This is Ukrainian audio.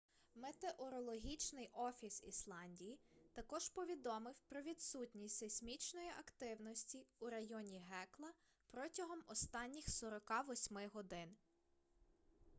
метеорологічний офіс ісландії також повідомив про відсутність сейсмічної активності у районі гекла протягом останніх 48 годин